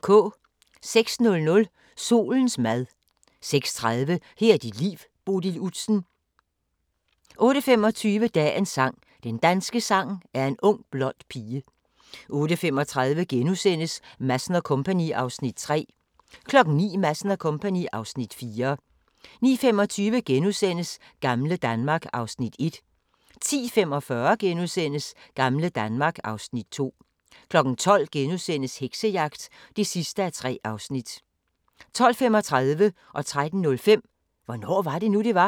06:00: Solens mad 06:30: Her er dit liv – Bodil Udsen 08:25: Dagens sang: Den danske sang er en ung blond pige 08:35: Madsen & Co. (Afs. 3)* 09:00: Madsen & Co. (Afs. 4) 09:25: Gamle Danmark (Afs. 1)* 10:45: Gamle Danmark (Afs. 2)* 12:00: Heksejagt (3:3)* 12:35: Hvornår var det nu, det var? * 13:05: Hvornår var det nu, det var?